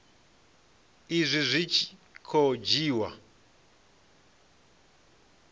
izwi zwi tshi khou dzhiiwa